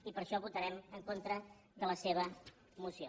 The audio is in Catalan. i per això votarem en contra de la seva moció